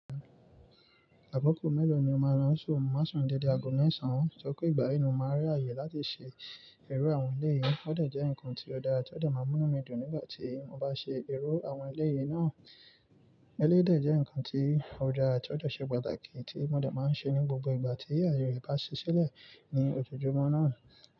Àkọ́kọ̀ mélòó ni o máa lo ṣun? Mi Má sun dídi ago mesán. Tọ́ pé ìgbà ẹyi máa rí ààyè láti ṣe ẹ̀rọ àwọn eléyìí, ó dà jẹ́ ǹkan tí ó dára tí ó dà má mú mi dùn nígbà tí mo bá ṣe ẹ̀rọ àwọn eléyìí náà. Eléyìí dà jẹ́ ǹkan tí ó dára tí ó dà ṣe pàtàkì tí mo dà má ń ṣe ní gbogbo ìgbà tí ààyè rẹ̀ bá ṣe ṣẹ́lẹ̀ ní ojoojúmọ́ náà.